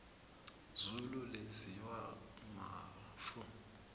izulu lenziwa mafu